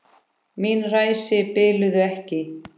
Mín ræsi biluðu ekki.